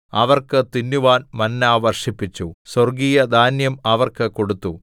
അവർക്ക് തിന്നുവാൻ മന്ന വർഷിപ്പിച്ചു സ്വർഗ്ഗീയധാന്യം അവർക്ക് കൊടുത്തു